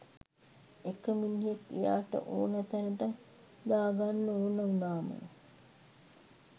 එක මිනිහෙක් එයාට ඕන තැනට දාගන්න ඕන උනාම